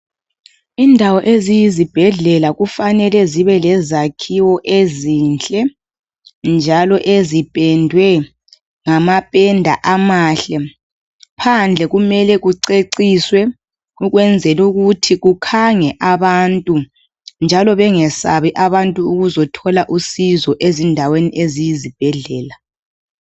Indawo eziyizibhedlela kufanele zibe lezakhiwo ezinhle njalo ezipendwe ngamapenda amahle, phandle kumele kuceciswe ukwenzela ukuthi kukhange abantu njalo bengasabi abantu ukuzothola usizo endaweni eziyibhedlela.